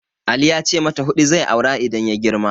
Ali ya ce mata huɗu zai aura idan ya girma.